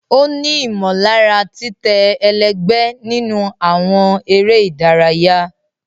O ni imọlara titẹ ẹlẹgbẹ nínú awọn eré ìdárayá.